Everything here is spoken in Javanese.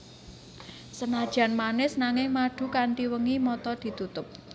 Senajan manis nanging madu Kanthi wengi mata ditutup